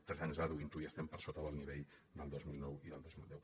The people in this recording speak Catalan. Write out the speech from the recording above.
tres anys reduint·ho i estem per sota del nivell del dos mil nou i del dos mil deu